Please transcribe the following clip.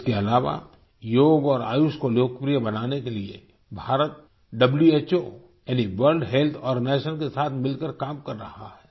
इसके अलावा योग और आयुष को लोकप्रिय बनाने के लिए भारत व्हो यानि वर्ल्ड हेल्थ आर्गेनाइजेशन के साथ मिलकर काम कर रहा है